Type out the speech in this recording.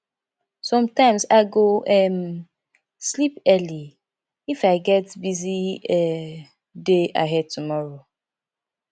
sometimes i go um sleep early if i get busy um day ahead tomorrow